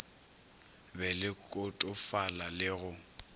be le kotofala le go